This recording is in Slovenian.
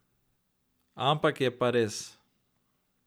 Ampak je pa res.